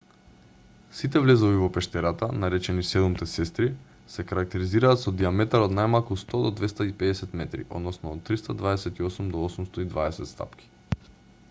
сите влезови во пештерата наречени седумте сестри се карактеризираат со дијаметар од најмалку 100 до 250 метри односно од 328 до 820 стапки